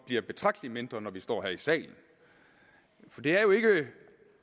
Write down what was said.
bliver betragtelig mindre når vi står her i salen for det er jo ikke